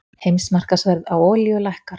Heimsmarkaðsverð á olíu lækkar